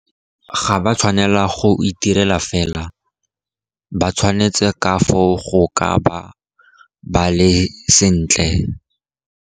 Ga ba tshwanela go itirela fela, ba tshwanetse ka foo go ka ba ba le sentle.